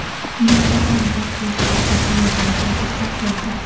"Nur Otan" partiyasi va "Oq yo‘l" demokratik partiyasi.